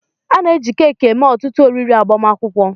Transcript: A na-eji keeki eme ọtụtụ oriri agbamakwụkwọ.